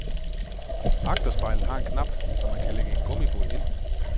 Agterspejlet har en klap, så man kan lægge en gummibåd ind.